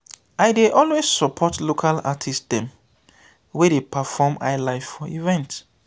i dey always support local artist dem wey dey perform highlife for event.